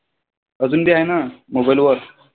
अजून ते आहे ना mobile वर?